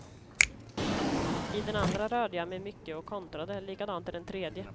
I den andra rörde jag mig mycket och kontrade, likadant i den tredje.